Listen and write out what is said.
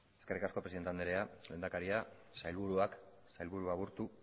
eskerrik asko presidente andrea lehendakaria sailburuak sailburu aburto